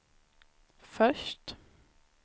först